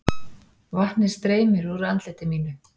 Vatnið streymir úr andliti mínu.